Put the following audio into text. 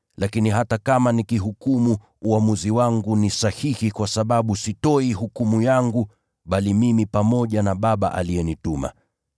Lakini hata kama nikihukumu, uamuzi wangu ni sahihi kwa sababu sitoi hukumu yangu peke yangu, bali niko pamoja na Baba, aliyenituma.